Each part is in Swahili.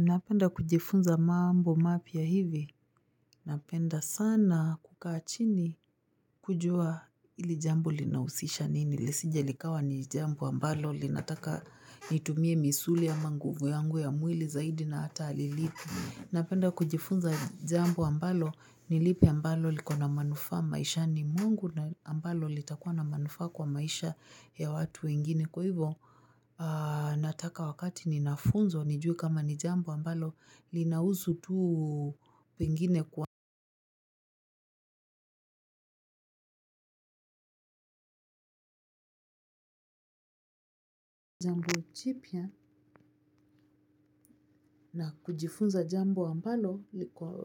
Napenda kujifunza mambo mapya hivi. Napenda sana kukaachini kujua hili jambo linahusisha nini. Lisije likawa ni jambo ambalo linataka nitumie misuli ama nguvu yangu ya mwili zaidi na hata hali lipi. Napenda kujifunza jambo ambalo nilipi ambalo liko na manufaa maishani mwangu na ambalo litakuwa na manufaa kwa maisha ya watu wengine. Kwa hivyo nataka wakati ninafunzo nijue kama ni jambo ambalo linahusu tuu pengine kwa. Chipia na kujifunza jambo ambalo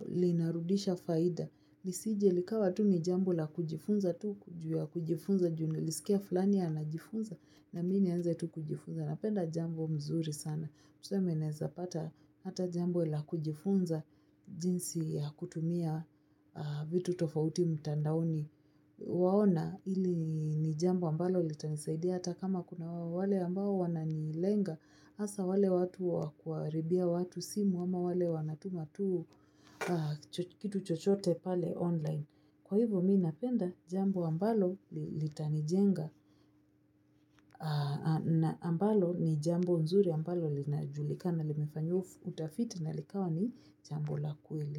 linarudisha faida. Lisije likawa tu ni jambo la kujifunza tu juu ya kujifunza junilisikia fulani ana jifunza na mi nianze tu kujifunza na penda jambo mzuri sana. Tuseme naeza pata hata jambo la kujifunza jinsi ya kutumia vitu tofauti mtandaoni. Waona ili ni jambo ambalo litanisaidia hata kama kuna wale ambao wananilenga hasa wale watu wakuaribia watu simu ama wale wanatumatu kitu chochote pale online. Kwa hivyo mi napenda jambo ambalo litanijenga ambalo ni jambo nzuri ambalo linajulikana limefanyiwa utafiti na likawa ni jambo la kweli.